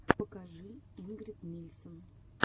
покажи ингрид нильсен